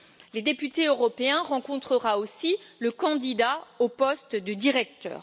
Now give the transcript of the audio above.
Les députés européens rencontreront aussi le candidat au poste de directeur.